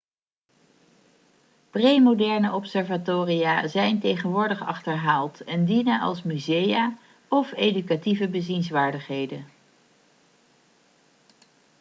premoderne observatoria zijn tegenwoordig achterhaald en dienen als musea of educatieve bezienswaardigheden